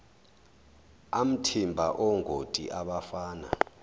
amathimba ongoti abafana